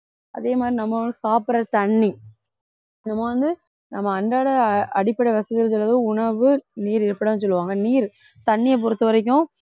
அதே மாதிரி நம்மளும் சாப்புட்ற தண்ணி நம்ம வந்து நம்ம அன்றாட அஹ் அடிப்படை வசதிகள் அதாவது உணவு நீர் இருப்பிடம் சொல்வாங்க நீர் தண்ணியைப் பொறுத்தவரைக்கும்